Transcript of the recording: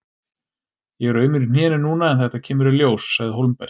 Ég er aumur í hnénu núna en þetta kemur í ljós, sagði Hólmbert.